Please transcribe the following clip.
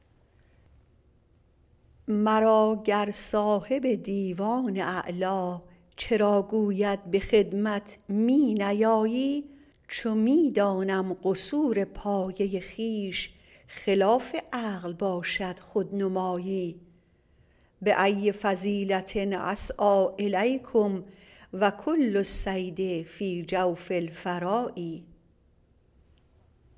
مرا گر صاحب دیوان اعلی چرا گوید به خدمت می نیایی چو می دانم قصور پایه خویش خلاف عقل باشد خودنمایی بای فضیلة أسعی الیکم و کل الصید فی جوف الفراء